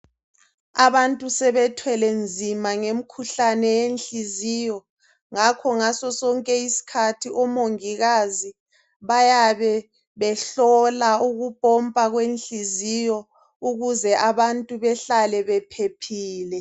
Abantu sebethwele nzima ngemikhuhlane yenhliziyo ngakho ngaso sonke isikhathi omongikazi bayabe behlola abantu ukupompa kwenhliziyo ukuze abantu behlale bephephile